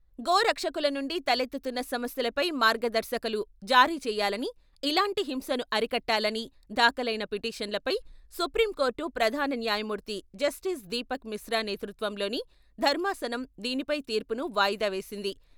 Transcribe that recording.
గోరక్షకుల నుండి తలెత్తుతున్న సమస్యలపై మార్గదర్శకలు జారీ చేయాలని, ఇలాంటి హింసను అరికట్టాలని దాఖలైన పిటీషన్లపై సుప్రీంకోర్టు ప్రధాన న్యాయమూర్తి జస్టిస్ దీపక్ మిశ్రా నేతృత్వంలోని ధర్మాసనం దీనిపై తీర్పును వాయిదా వేసింది.